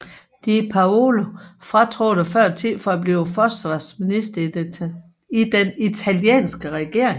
Di Paola fratrådte før tid for at blive forsvarsminister i den italienske regering